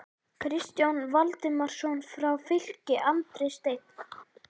Kristján Valdimarsson frá Fylki, Andri Steinn???